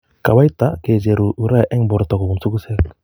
Kawaita kicheruu urea eng' borto kobun sokoseek